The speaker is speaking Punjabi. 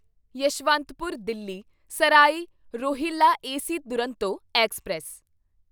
Yeshwantpur Delhi Sarai Rohilla AC Duronto express